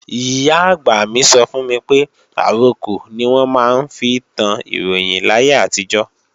Ìyá-àgbà mi sọ fún mi pé àrokò ni wọ́n máa ń fi tán Ìròyìn láyé àtijọ́